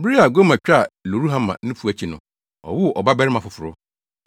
Bere a Gomer twaa Lo-ruhama nufu akyi no, ɔwoo ɔba barima foforo.